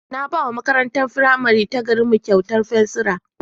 Na ba wa makarantar firamare ta garinmu kyautar fensira.